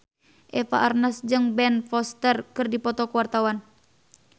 Eva Arnaz jeung Ben Foster keur dipoto ku wartawan